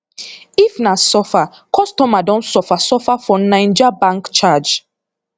if na suffer customer don suffer suffer for naija bank charge